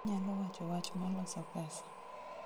inyalo wacho wach ma loso pesa